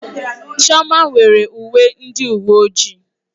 Chioma nwere uwe ndị uwe ojii.